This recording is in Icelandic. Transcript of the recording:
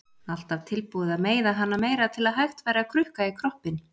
Alltaf tilbúin að meiða hana meira til að hægt væri að krukka í kroppinn.